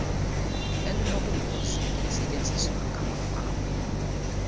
eliobungozi elisetyenziswa ngamafama